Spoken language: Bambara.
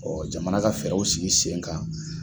Jamana ka fɛɛrɛw sigi sen kan